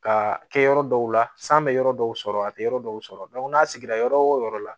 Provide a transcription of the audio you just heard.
Ka kɛ yɔrɔ dɔw la san bɛ yɔrɔ dɔw sɔrɔ a tɛ yɔrɔ dɔw sɔrɔ n'a sigira yɔrɔ o yɔrɔ la